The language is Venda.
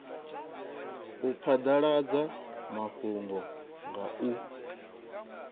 u phadaladza mafhungo nga u